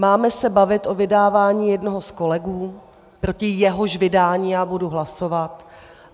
Máme se bavit o vydávání jednoho z kolegů, proti jehož vydání já budu hlasovat.